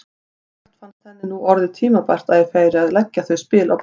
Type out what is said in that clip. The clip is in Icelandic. Sjálfsagt fannst henni nú orðið tímabært að ég færi að leggja þau spil á borðið!